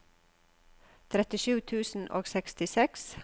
trettisju tusen og sekstiseks